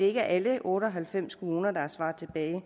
ikke er alle otte og halvfems kommuner der har svaret